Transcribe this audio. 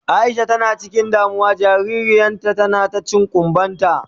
Aisha tana cikin damuwa jaririyan ta tana cin kumban ta.